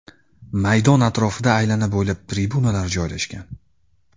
Maydon atrofida aylana bo‘ylab tribunalar joylashgan.